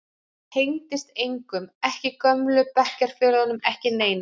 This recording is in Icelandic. Ég tengdist engum, ekki gömlu bekkjarfélögunum, ekki neinum.